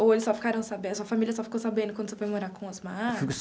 Ou eles só ficaram sabendo, sua família só ficou sabendo quando você foi morar com o Osmar?